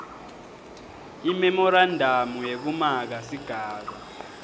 imemorandamu yekumaka sigaba